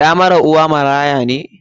Ɗa mara uwa maraya ne?